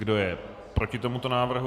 Kdo je proti tomuto návrhu?